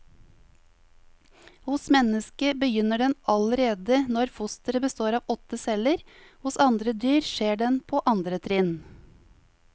Hos mennesket begynner den allerede når fosteret består av åtte celler, hos andre dyr skjer den på andre trinn.